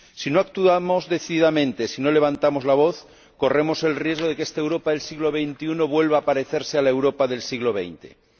Si no actuamos decididamente, si no levantamos la voz, corremos el riesgo de que esta Europa del siglo XXI vuelva a parecerse a la Europa del siglo XX.